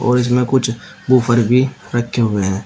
और इसमें कुछ वूफर भी रखे हुए हैं।